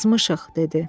Azmışıq,